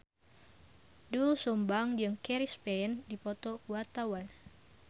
Doel Sumbang jeung Chris Pane keur dipoto ku wartawan